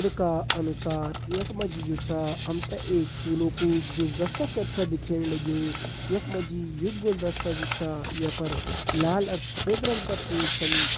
चित्र का अनुसार यख मा जी जु छा हम ते एक फूलों कू गुलदस्ता कर छ दिखेण लग्युं यख मा जी यु गुलदस्ता जू छा ये पर लाल अर सफ़ेद रंग का फूल छन।